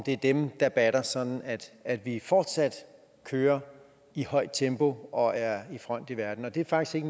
er dem der batter sådan at vi fortsat kører i højt tempo og er i front i verden og det er faktisk